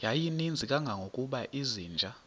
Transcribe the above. yayininzi kangangokuba izinja